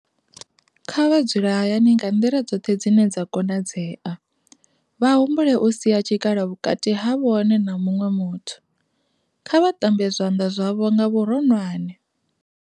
Kha vha dzule hayani nga nḓila dzoṱhe dzine dza konadzea. Vha humbule u sia tshikhala vhukati ha vhone na muṅwe muthu. Kha vha ṱambe zwanḓa zwavho nga vhuronwane.